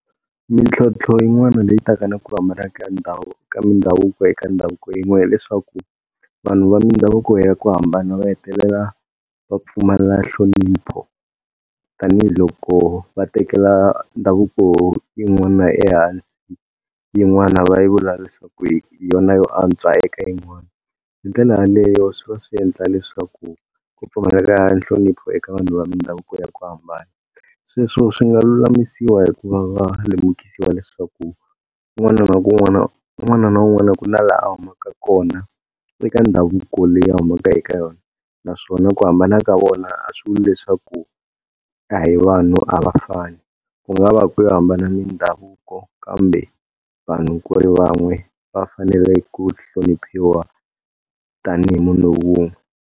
Mintlhotlho yin'wana leyi taka na ku hambana ka ndhawu ka mindhavuko eka ndhavuko yin'wana. Hi leswaku vanhu va mindhavuko ya ku hambana va hetelela va pfumala nhlonipho, tanihiloko va tekela ndhavuko yin'wana ehansi yin'wana va yi vula leswaku hi yona yo antswa, eka yin'wani. Hi ndlela yaleyo swi va swi endla leswaku ku pfumaleka nhlonipho eka vanhu va mindhavuko ya ku hambana. Sweswo swi nga lulamisiwa hikuva va lemukisiwa leswaku un'wana na un'wana un'wana na un'wana ku na laha a humaka kona eka ndhavuko leyi a humaka eka yona, naswona ku hambana ka vona a swi vuli leswaku a hi vanhu a va fani, ku nga va ku yo hambana mindhavuko kambe vanhu ku ri van'we va fanele ku hloniphiwa tanihi munhu un'we.